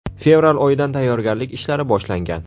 Fevral oyidan tayyorgarlik ishlari boshlangan.